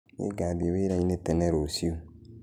Nĩngathĩe wĩraĩnĩ tene rũciu.